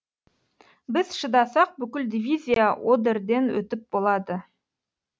біз шыдасақ бүкіл дивизия одерден өтіп болады